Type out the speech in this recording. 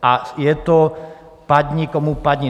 A je to padni komu padni.